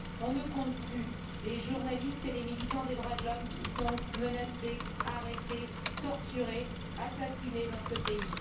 On ne compte plus les journalistes et les militants des droits de l'homme qui sont menacés, arrêtés, torturés, assassinés dans ce pays.